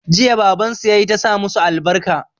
Jiya baban su yayi ta sa musu albarka